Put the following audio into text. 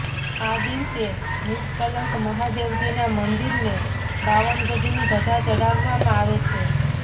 આ દિવસે નિષ્કલંક મહાદેવજીના મંદિરને બાવન ગજની ધજા ચડાવવામાં આવે છે